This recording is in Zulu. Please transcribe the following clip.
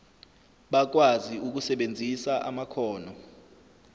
bakwazi ukusebenzisa amakhono